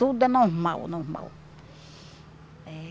Tudo é normal, normal.